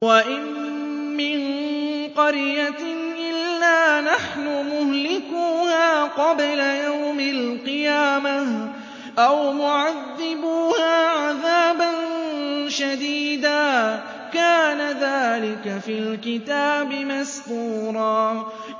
وَإِن مِّن قَرْيَةٍ إِلَّا نَحْنُ مُهْلِكُوهَا قَبْلَ يَوْمِ الْقِيَامَةِ أَوْ مُعَذِّبُوهَا عَذَابًا شَدِيدًا ۚ كَانَ ذَٰلِكَ فِي الْكِتَابِ مَسْطُورًا